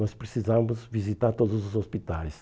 Nós precisávamos visitar todos os hospitais.